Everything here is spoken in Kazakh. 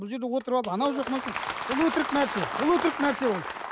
бұл жерде отырып алып анау жоқ мынау жоқ бұл өтірік нәрсе бұл өтірік нәрсе ол